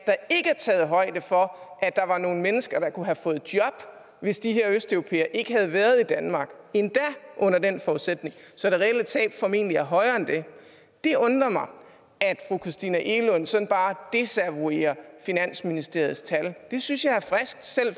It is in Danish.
taget højde for at der var nogle mennesker der kunne have fået job hvis de her østeuropæere ikke havde været i danmark endda under den forudsætning så det reelle tab formentlig er højere end det det undrer mig at fru christina egelund sådan bare desavouerer finansministeriets tal det synes jeg